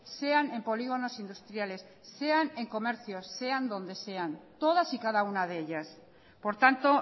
sean en polígonos industriales sean en comercios sean donde sean todas y cada una de ellas por tanto